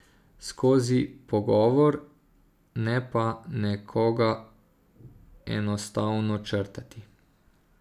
Skozi pogovor, ne pa nekoga enostavno črtati.